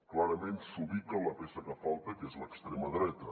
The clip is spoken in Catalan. clarament s’ubica la peça que falta que és l’extrema dreta